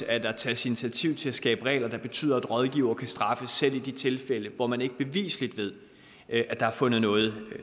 at der tages initiativ til at skabe regler der betyder at rådgivere kan straffes selv i de tilfælde hvor man ikke beviseligt ved at der har fundet noget